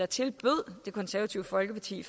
tilbød det konservative folkeparti